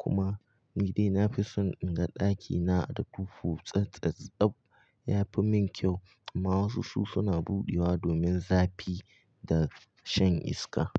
kuma nidai. Na fi son in ga ɗakina da duhu tsattsatsa tsab yafi min kyau. Amma wasu su suna buɗewa domin zafi da shan iska.